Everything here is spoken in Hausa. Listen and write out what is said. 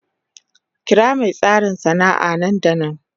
Kira mai tasiri sana'a nan da nan.